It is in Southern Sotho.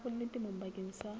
merafong le temong bakeng sa